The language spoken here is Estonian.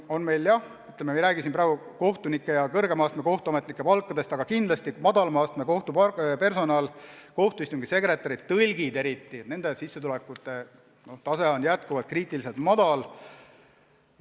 Ma ei räägi siin praegu kohtunike ja kõrgema astme kohtuametnike palkadest, vaid just madalama astme kohtupersonalist: kohtuistungi sekretäride ja eriti tõlkide sissetulekute tase on kriitiliselt madal.